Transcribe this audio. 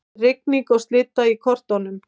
Rigning og slydda í kortunum